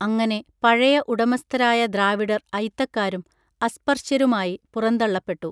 അങ്ങനെ പഴയ ഉടമസ്ഥരായ ദ്രാവിഡർ അയിത്തക്കാരും അസ്പർശ്യരുമായി പുറന്തള്ളപ്പെട്ടു